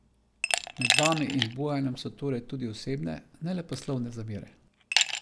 Med vami in Bojanom so torej tudi osebne, ne le poslovne zamere?